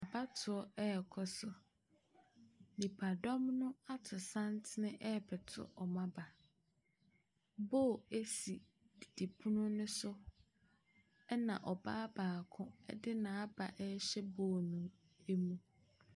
Abatoɔ reka so. Nipadɔm no ato santene rebɛto wɔn aba. Bowl si didipono no so, ɛna ɔbaa baako de n'aba rehyɛ bowl no mu.